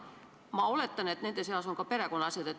Ma oletan, et nende seas on ka perekonnasjad.